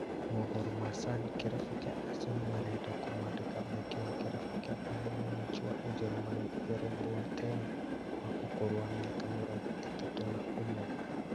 Mohoro ma Sun kĩrabu kĩa Arsenal marenda kũmwandĩka Beki wa kĩrabu kĩa Bayern Munich wa Ũjerũmani Jerome Boateng wa ũkũrũ wa mĩaka mĩrongo ĩtatũ na ũmwe